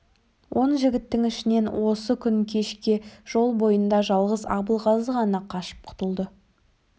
он жігіттің ішінен осы күн кешке жол бойында жалғыз абылғазы ғана қашып құтылды